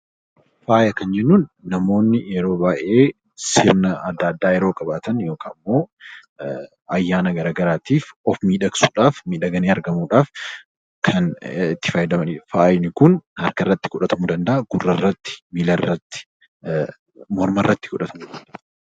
Faaya kan jennuun namoonni yeroo baay'ee sirna adda addaa yeroo qabaatan yookiin ayyaana garaagaraatiif of miidhagsuudhaaf miidhaganii argamuudhaaf kan itti fayyadamanidha. Faayi Kun harkarratti, gurrarratti, miilarratti, mormatti kan godhatamanidha.